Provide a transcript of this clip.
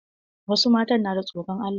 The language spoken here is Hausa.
Wasu matan na da tsoron Allah.